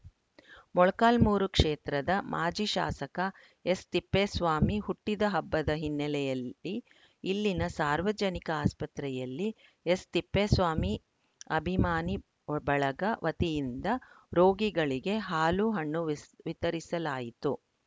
ಮೊಳಕಾಲ್ಮುರು ಕ್ಷೇತ್ರದ ಮಾಜಿ ಶಾಸಕ ಎಸ್‌ತಿಪ್ಪೇಸ್ವಾಮಿ ಹುಟ್ಟಿದ ಹಬ್ಬದ ಹಿನ್ನೆಲೆಯಲ್ಲಿ ಇಲ್ಲಿನ ಸಾರ್ವಜನಿಕ ಆಸ್ಪತ್ರೆಯಲ್ಲಿ ಎಸ್‌ತಿಪ್ಪೇಸ್ವಾಮಿ ಅಭಿಮಾನಿ ಬಳಗ ವತಿಯಿಂದ ರೋಗಿಗಳಿಗೆ ಹಾಲು ಹಣ್ಣು ವಿಸ್ ವಿತರಿಸಲಾಯಿತು